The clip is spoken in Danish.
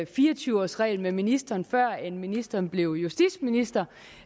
fire og tyve års regel med ministeren førend ministeren blev justitsminister